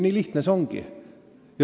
Nii lihtne see ongi.